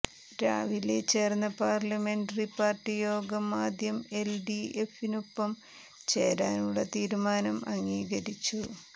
രാവിലെ ചേര്ന്ന parliamentary party യോഗം ആദ്യം എല് ഡി എഫിനൊപ്പം ചേരാനുള്ള തീരുമാനം അംഗീകരിച്ചു